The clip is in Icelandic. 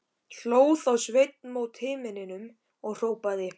Hló þá Sveinn mót himninum og hrópaði: